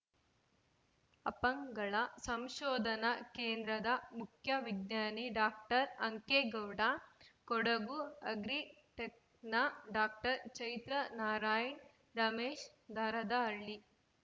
ಅಪ್ಪಂಗಳ ಸಂಶೋಧನಾ ಕೇಂದ್ರದ ಮುಖ್ಯ ವಿಜ್ಞಾನಿ ಡಾಕ್ಟರ್ ಅಂಕೇಗೌಡ ಕೊಡಗು ಅಗ್ರಿಟೆಕ್‌ನ ಡಾಕ್ಟರ್ ಚೈತ್ರ ನಾರಾಯಣ್‌ ರಮೇಶ್‌ ದಾರದಹಳ್ಳಿ